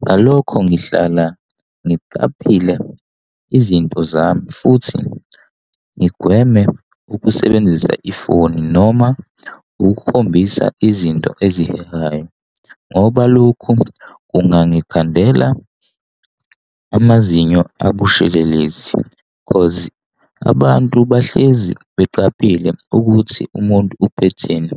Ngalokho ngihlala ngiqaphelile izinto zami futhi ngigweme ukusebenzisa ifoni noma ukukhombisa izinto ezihehayo, ngoba lokhu kungangikhandela amazinyo abushelelezi, cause abantu bahlezi beqaphele ukuthi umuntu uphetheni.